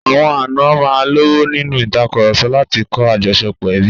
Àwọn àna máa ń lọ́wọ́ nínú ìtàkurọ̀sọ láti kọ́ àjọṣepọ̀ ẹbí.